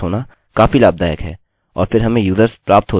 अतः यह यहाँ phpacademy है